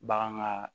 Bagan ka